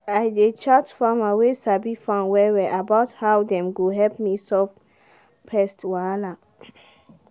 dey chat farmer wey sabi farm well well about how dem go help me sort pest wahala